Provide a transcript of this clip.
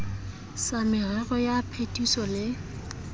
sa merero ya phetiso le